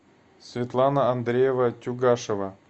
светлана андреева тюгашева